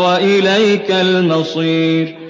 وَإِلَيْكَ الْمَصِيرُ